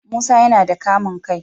Musa yana da kamun kai